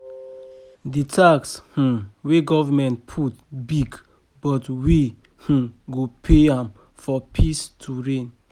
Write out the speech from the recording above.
The tax um wey government put big but we um go pay am for peace to reign